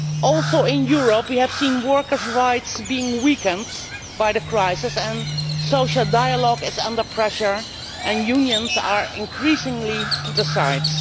Also in Europe, we have seen workers' rights being weakened by the crisis social dialogue is under pressure and unions are increasingly being set aside.